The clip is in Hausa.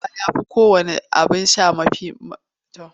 Ruwa ya fi kowanne abin sha muhimmanci.